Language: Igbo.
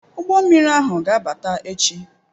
Ụgbọ mmiri ahụ ga-abata echi